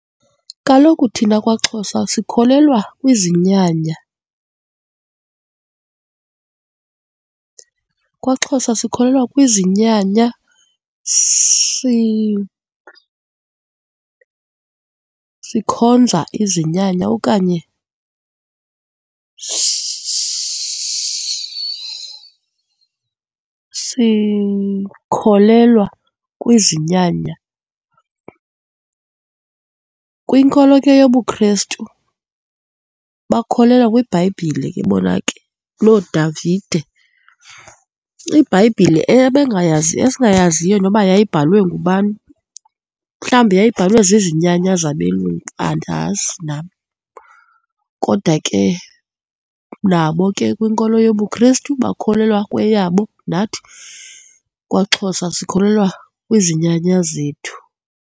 Kaloku thina kwaXhosa sikholelwa kwizinyanya. KwaXhosa sikholelwa kwizinyanya, sikhonza izinyanya okanye sikholelwa kwizinyanya. Kwinkolo ke yobuKhristu, bakholelwa kwiBhayibhile ke bona ke, nooDavide, iBhayibhile esingayaziyo noba yayibhalwe ngubani. Mhlawumbi yayibhalwe zizinyanya zabelungu, andazi nam. Kodwa ke, nabo ke kwinkolo yobuKristu bakholelwa kweyabo nathi kwaXhosa sikholelwa kwizinyanya zethu.